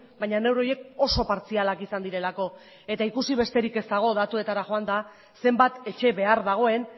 baina neurri horiek oso partzialak izan direlako ikusi besterik ez dago datuetara joanda zenbat etxe behar dagoen